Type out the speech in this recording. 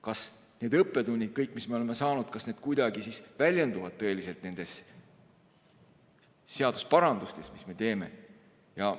Kas kõik need õppetunnid, mis me oleme saanud, kas need kuidagi väljenduvad nendes seaduseparandustes, mis me teeme?